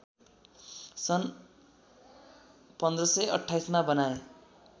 सन् १५२८मा बनाए